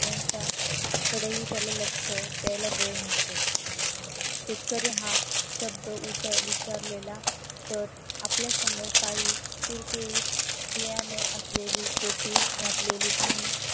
यांच्या कडेही त्याला लक्ष द्यायला वेळ नसतो शेतकरी हा शब्द विचारलेला तर आपल्या समोर काही कुरकुरीत बियाणं असलेली टोपी घातलेली आणि